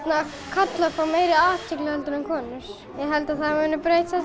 karlar fái meiri athygli en konur ég held að það muni breytast